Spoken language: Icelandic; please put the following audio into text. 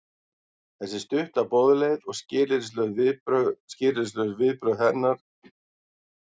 Þessi stutta boðleið og skilyrðislaus viðbrögð gera það að verkum að viðbragðið verður mjög hratt.